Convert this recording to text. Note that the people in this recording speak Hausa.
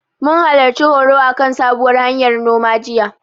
Mun halarci horo akan sabuwar hanyar noma, jiya.